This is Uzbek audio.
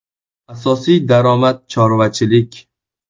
Asosiy daromadi chorvachilik.